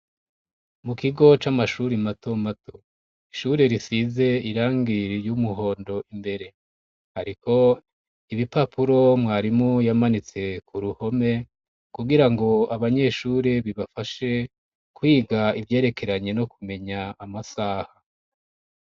Mu kigo c'amashuri mato mato ishuri risize irangi ry'umuhondo imbere hariko ibipapuro mwarimu yamanitse ku ruhome kugira ngo abanyeshure bibafashe kwiga ivyerekeranye no kumenya amasaha.